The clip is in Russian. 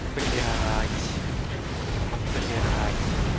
блять блять